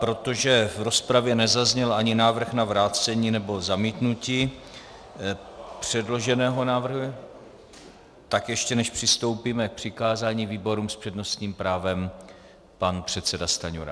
Protože v rozpravě nezazněl ani návrh na vrácení nebo zamítnutí předloženého návrhu, tak ještě než přistoupíme k přikázání výborům, s přednostním právem pan předseda Stanjura.